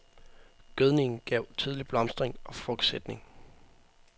Gødningen gav tidlig blomstring og frugtsætning.